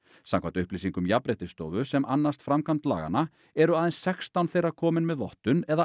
samkvæmt upplýsingum Jafnréttisstofu sem annast framkvæmd laganna eru aðeins sextán þeirra komin með vottun eða